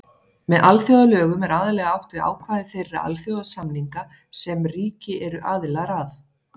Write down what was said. Með alþjóðalögum er aðallega átt við ákvæði þeirra alþjóðasamninga sem ríki eru aðilar að.